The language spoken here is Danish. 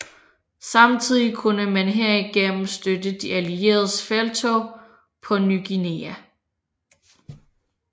Samtidig kunne man herigennem støtte de allieredes felttog på Ny Guinea